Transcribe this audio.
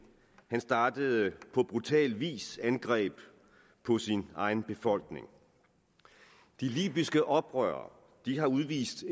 men startede på brutal vis angreb på sin egen befolkning de libyske oprørere har udvist